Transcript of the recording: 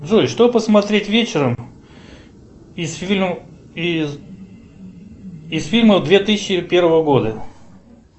джой что посмотреть вечером из фильмов две тысячи первого года